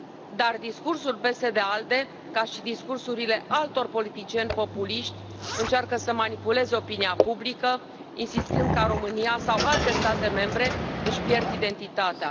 Dar discursul PSD ALDE, ca și discursurile altor politicieni populiști, încearcă să manipuleze opinia publică, insistând că România sau alte state membre își pierd identitatea.